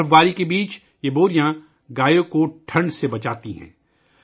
برف باری کے دوران یہ بوریاں گا یوں کو سردی سے تحفظ فراہم کرتی ہیں